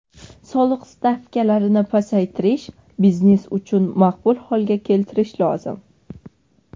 Soliq stavkalarini pasaytirish, biznes uchun maqbul holga keltirish lozim.